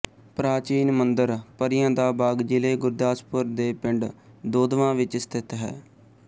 ਪ੍ਰਾਚੀਨ ਮੰਦਰ ਪਰੀਆਂ ਦਾ ਬਾਗ ਜ਼ਿਲ੍ਹੇ ਗੁਰਦਾਸਪੁਰ ਦੇ ਪਿੰਡ ਦੋਦਵਾਂ ਵਿੱਚ ਸਥਿਤ ਹੈ